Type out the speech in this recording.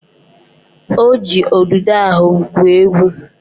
O ji udude ahụ gwuo egwu